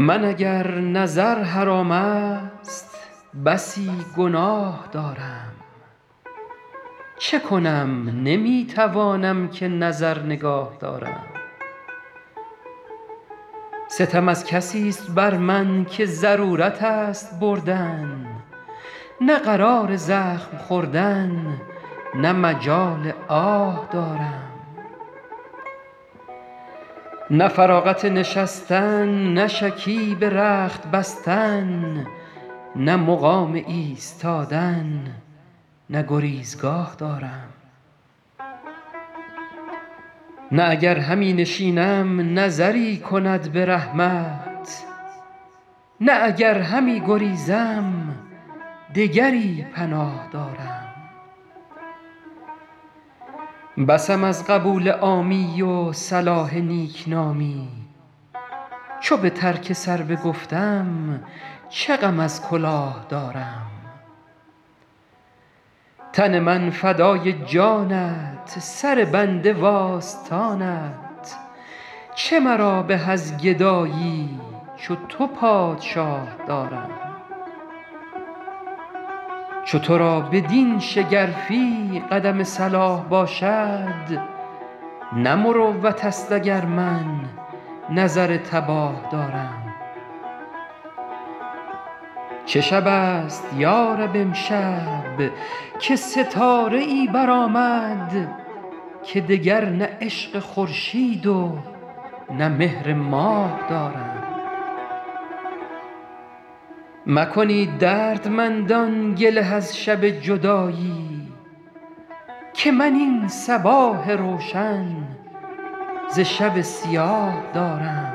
من اگر نظر حرام است بسی گناه دارم چه کنم نمی توانم که نظر نگاه دارم ستم از کسیست بر من که ضرورت است بردن نه قرار زخم خوردن نه مجال آه دارم نه فراغت نشستن نه شکیب رخت بستن نه مقام ایستادن نه گریزگاه دارم نه اگر همی نشینم نظری کند به رحمت نه اگر همی گریزم دگری پناه دارم بسم از قبول عامی و صلاح نیکنامی چو به ترک سر بگفتم چه غم از کلاه دارم تن من فدای جانت سر بنده وآستانت چه مرا به از گدایی چو تو پادشاه دارم چو تو را بدین شگرفی قدم صلاح باشد نه مروت است اگر من نظر تباه دارم چه شب است یا رب امشب که ستاره ای برآمد که دگر نه عشق خورشید و نه مهر ماه دارم مکنید دردمندان گله از شب جدایی که من این صباح روشن ز شب سیاه دارم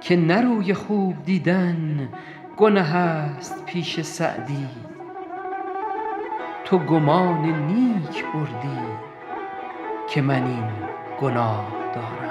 که نه روی خوب دیدن گنه است پیش سعدی تو گمان نیک بردی که من این گناه دارم